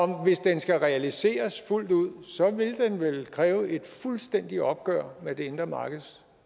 hvis den skal realiseres fuldt ud vel vil kræve et fuldstændigt opgør med det indre markeds